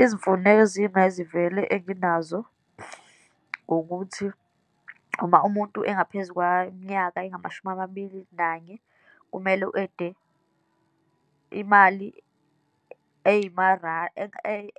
Izimfuneko eziy'mayizivele enginazo ngokuthi, uma umuntu engaphezu kwaminyaka engamashumi amabili nanye, kumele u-ede imali